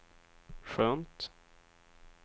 skönt